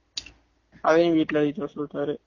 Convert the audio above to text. அதையும் வீட்ல எழுதிட்டு வர சொல்லிட்டாரு